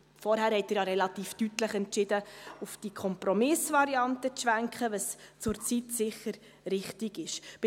Vorhin haben Sie ja relativ deutlich entschieden, auf diese Kompromissvariante zu schwenken, was zurzeit sicher richtig ist.